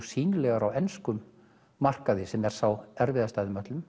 sýnilegar á enskum markaði sem er sá erfiðasti af þeim öllum